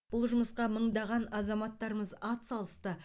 бұл жұмысқа мыңдаған азаматтарымыз атсалысты